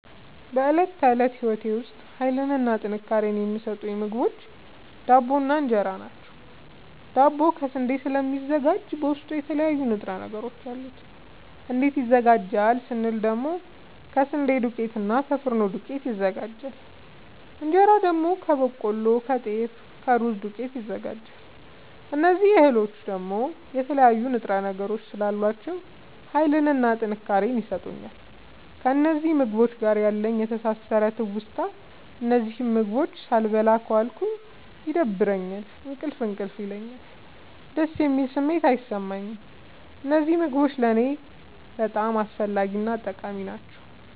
በእለት ተለት ህይወቴ ዉስጥ ሀይልንና ጥንካሬን የሚሠጡኝ ምግቦች ዳቦ እና እን ራ ናቸዉ። ዳቦ ከስንዴ ስለሚዘጋጂ በዉስጡ የተለያዩ ንጥረ ነገሮች አሉት። እንዴት ይዘጋጃል ስንል ደግሞ ከስንዴ ዱቄትና እና ከፊኖ ዱቄት ይዘጋጃል። እንጀራ ደግሞ ከበቆሎ ከጤፍ ከሩዝ ዱቄት ይዘጋጃል። እዚህ እህሎይ ደግሞ የተለያዩ ንጥረ ነገሮች ስላሏቸዉ ሀይልንና ጥንካሬን ይሠጡኛል። ከእነዚህ ምግቦች ጋር ያለኝ የተሣሠረ ትዉስታ እነዚህን ምግቦች ሣልበላ ከዋልኩ ይደብረኛል እንቅልፍ እንቅልፍ ይለኛል። ደስ የሚል ስሜት አይሠማኝም። እነዚህ ምግቦች ለኔ በጣም አስፈላጊናጠቃሚ ናቸዉ።